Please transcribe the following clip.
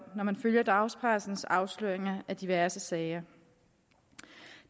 af når man følger dagspressens afsløringer af diverse sager